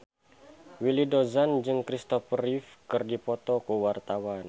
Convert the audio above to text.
Willy Dozan jeung Kristopher Reeve keur dipoto ku wartawan